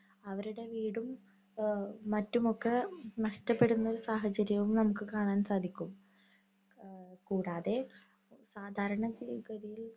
അവരുടെ വീടും, എഹ് മറ്റുമൊക്കെ നഷ്ടപ്പെടുന്ന ഒരു സാഹചര്യവും നമുക്ക് കാണാന്‍ സാധിക്കും. അഹ് കൂടാതെ, സാധാരണ ഗതിയില്‍